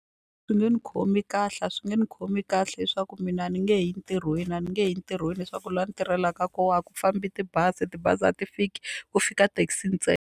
Swi nge ni khomi kahle a swi nge ni khomi kahle leswaku mina a ni nge he yi ntirhweni a ni nge he yi ntirhweni leswaku laha ni tirhelaka kona a ku fambi tibazi tibazi a ti fiki ku fika taxi .